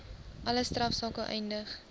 alle strafsake eindig